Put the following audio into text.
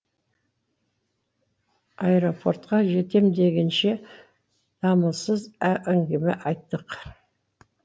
аэропортқа жетем дегенше дамылсыз әңгіме айттық